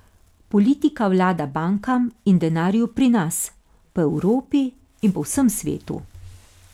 Politika vlada bankam in denarju pri nas, po Evropi in po vsem svetu.